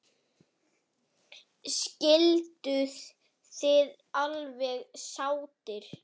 Skilduð þið alveg sáttir?